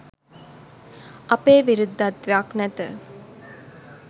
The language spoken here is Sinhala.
අපේ විරුද්ධත්වයක් නැත